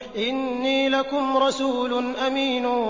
إِنِّي لَكُمْ رَسُولٌ أَمِينٌ